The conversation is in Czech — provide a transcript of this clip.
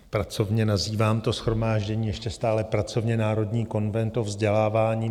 Pracovně nazývám to shromáždění, ještě stále pracovně, Národní konvent o vzdělávání.